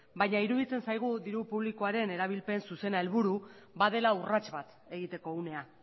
baina iruditzen zaigu diru publikoaren erabilpen zuzena helburu badela urrats bat egiteko unea